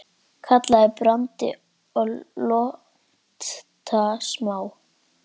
Kallast branda lonta smá.